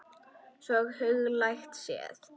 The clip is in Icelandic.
Svona huglægt séð.